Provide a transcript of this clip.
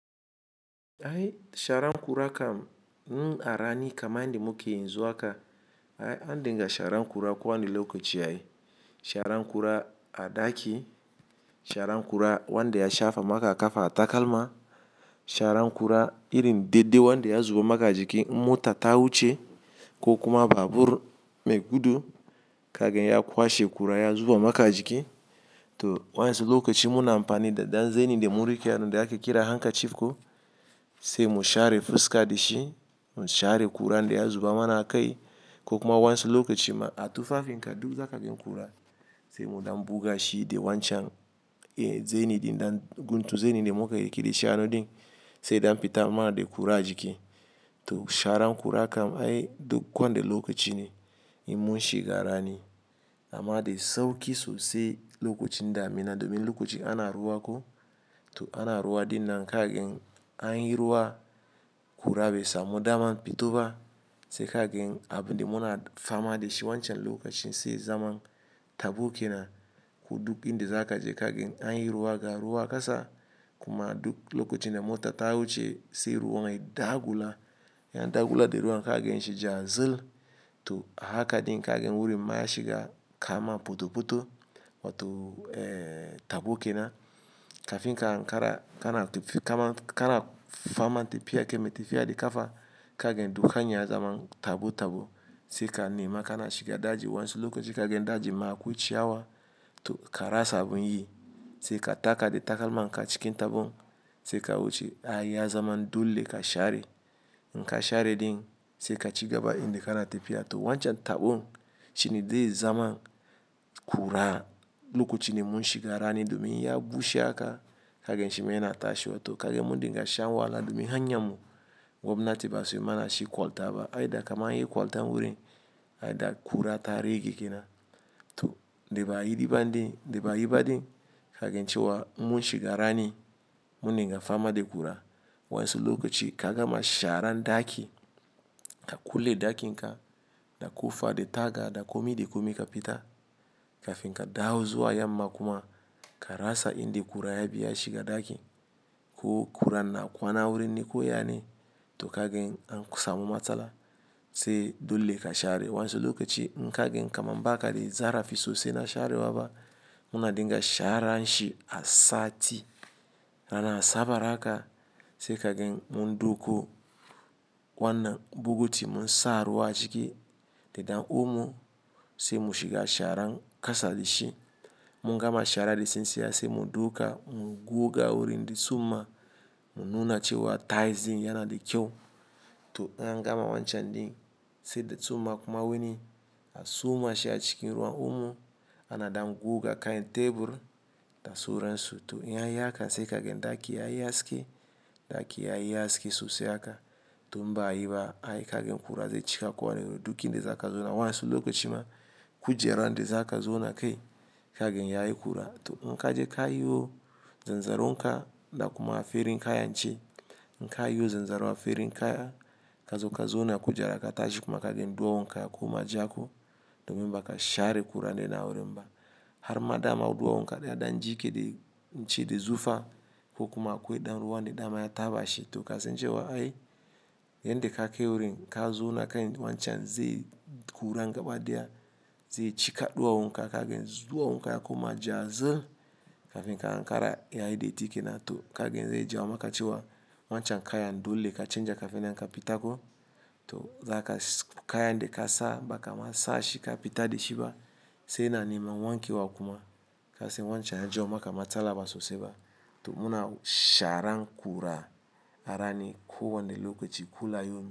Ai sharan kura kam, n'arani kama inde muke in zuha ka, ai an dinga sharan kura ko wanda lokaci ai. Sharan kura a daki, sharan kura wanda ya shafa maka a kafa a takalma, sharan kura irin dede wanda ya zuba maka a jiki mota ta wuce ko kuma babur mai gudu, kagan ya kwashe kura ya zuba maka a jiki. To wansu lokaci muna amfani da dan zani de mun rike, dan da ake kira hanka chief ko, sai mu share fuska da shi, mu share kuran da ya zuba mana a kai ko kuma wansu lokaci ma a tufafin ka duk za ka gan kura, sai mu dam buga shi da wancan, eh zani dan guntu zani de muka yake da shi anan din, sai dam fita mana da kura a jiki. To sharan kura kam ai duk wanda lokaci ne in mun shiga rani. Amma da sauki sosai lokacin damina domin lokaci ana ruwa ko, to ana ruwa dinnan kagan an yi ruwa, kura bai samu daman fito ba, sai kagan abin de muna fama da shi wancan lokacin sai zaman tabo kenan. Ko duk inde za ka je kagan an yi ruwa ga ruwa kasa, kuma duk lokacin da mota ta wuce sai ruwan ya dagula, ya dagula da ruwan kagan shi ja zil. To haka din kagan wurin ma ya shiga kaman poto-poto, wato eh tabo kenan. Kafin ka an kara, kana, kama, kana fama tafiya kema tafya da kafa, kagan duk hanyar zaman tabo-tabo. Sai ka nima kana shiga daji wansu lokaci kagan daji ma akwai ciyawa to ka rasa abin yi. Sai ka taka da takalman ka cikin tabon, sai ka wuce ai ya zaman dole ka share. In ka share din, sai ka cigaba inde kana tafiya. To wancan tabon shine dai zaman kura. Lokacin de mun shiga rani domin ya bushe aka, kagan shi maina tashewa to kagan mun dinga shan wahala domin hanyar mu gwamnati ba su yi mana shi kwalta ba. Ai da kamar an yi kwalta wurin, ai da kura ta rage kenan. To deba yi diba din, deba yi ba din, kagan cewa mun shiga rani, mun dinga fama da kura. Wansu lokaci ka gama sharan daki, ka kulle dakin ka, da kofa da taga da komi da komi ka fita. Kafin ka dawo zuwa yamma kuma ka rasa inde kura ya biya shiga daki. Ko kura na kwana wurin neko yane, to kagan an samu matsala sai dole ka share. Wansu lokaci in kagan kama mbaka da zarafi sosai na share waba, muna dinga sharan shi a sati. Rana a sabar haka, sai kagan mun doko wannan bugu ti mun sa ruwa a ciki, da dan omo sai mu shiga sharan kasa da shi. Mun gama shara da sinsiya sai mu dauka, mu guga wurin de tsuma, mu nuna cewa taizi yana da kyau. To in an gama wancan din, sai da tsuma kuma wani a soma shi a cikin ruwan umo, anada guga kai'n tebur da suransu. To in ya yi haka sai kagan daki ya yi haske, daki ya yi haske sosai aka. To mba yi ba ai kagan kura zai cika ko wanne duk inde za ka zona. Wansu lokaci ma kujera inde za ka zona kai kagan ya yi kura. To in ka je ka yiwo zanzaron ka da kuma farin kaya nce, in ka yiwo zanzaro afarin kaya ka zo ka zauna kujera ka tashi kuma kagan duwawun ka ya koma jako, domin ba ka share kura de na wurin ba. Har ma dama duwawun ka da ya dan jike da nce de zufa ko kuma akwai dan ruwa ne dama ya taɓa shi. To ka san cewa ai, in de ka kai wurin ka zauna kai wancan ze kura gabadaya, zai cika duwawun ka kagan duwawun ka ya koma ja zil. Kafin ka an kara ya yi datti kenan. To kagan ze ja wo maka cewa wancan kayan dole ka canja kafin in ka fita ko. To zaka kaya inde ka sa baka ma sashi ka fita da shi ba, sai na neman wanke wakuma. Ka san wancan ya jawo maka matsala ba sosai ba. To muna sharan kura arani ko wanda lokaci kula yau.